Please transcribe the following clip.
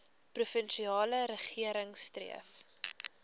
provinsiale regering streef